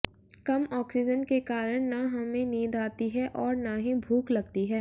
कम oxygen के कारण न हमें नींद आती है और न ही भूख लगती है